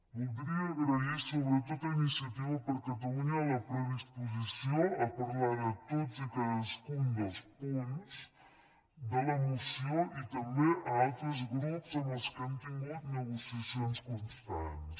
voldria agrair sobretot a iniciativa per catalunya la predisposició a parlar de tots i cadascun dels punts de la moció i també a altres grups amb què hem tingut negociacions constants